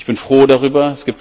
Ich bin froh darüber.